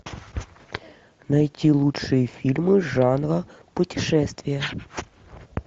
найти лучшие фильмы жанра путешествия